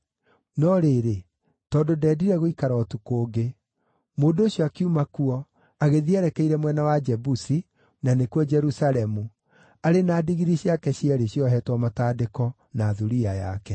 No rĩrĩ, tondũ ndendire gũikara ũtukũ ũngĩ, mũndũ ũcio akiuma kuo agĩthiĩ erekeire mwena wa Jebusi (na nĩkuo, Jerusalemu), arĩ na ndigiri ciake cierĩ ciohetwo matandĩko na thuriya yake.